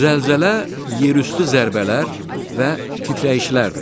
Zəlzələ yerüstü zərbələr və titrəyişlərdir.